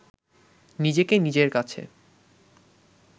নিজেকে নিজের কাছে